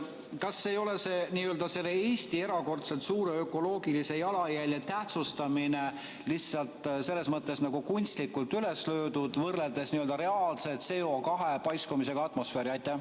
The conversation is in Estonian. Kas selle Eesti erakordselt suure ökoloogilise jalajälje tähtsustamine ei ole lihtsalt nagu kunstlikult üles löödud, võrreldes reaalse CO2 paiskumisega atmosfääri?